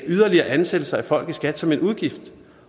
yderligere ansættelse af folk i skat som en udgift